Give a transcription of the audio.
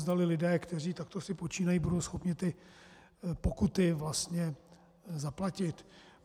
Zdali lidé, kteří si takto počínají, budou schopni ty pokuty vlastně zaplatit.